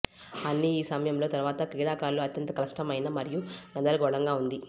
అన్ని ఈ సమయంలో తర్వాత క్రీడాకారులు అత్యంత కష్టమైన మరియు గందరగోళంగా ఉంది